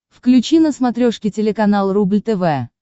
включи на смотрешке телеканал рубль тв